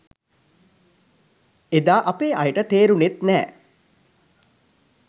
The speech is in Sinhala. එදා අපේ අයට තේරුනෙත් නෑ